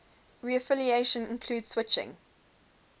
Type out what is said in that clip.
reaffiliation include switching